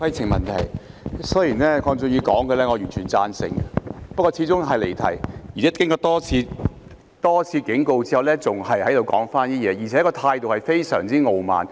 雖然鄺俊宇議員發言的內容，我完全贊成，不過他始終是離題，而且經過主席多次警告後，他仍然說同一番話，而且態度非常傲慢。